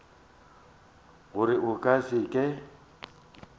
gore a ka se ke